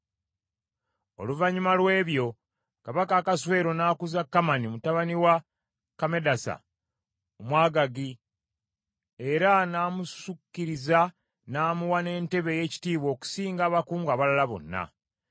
Oluvannyuma lw’ebyo Kabaka Akaswero n’akuza Kamani mutabani wa Kammedasa, Omwagaagi era n’amusukkiriza n’amuwa n’entebe ey’ekitiibwa okusinga abakungu abalala bonna.